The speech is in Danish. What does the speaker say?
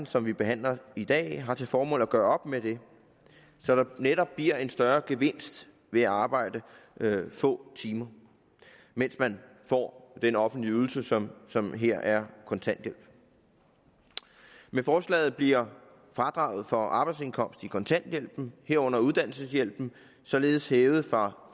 som vi behandler i dag har til formål at gøre op med det så der netop bliver en større gevinst ved at arbejde få timer mens man får den offentlige ydelse som som her er kontanthjælp med forslaget bliver fradraget for arbejdsindkomst i kontanthjælpen herunder uddannelseshjælpen således hævet fra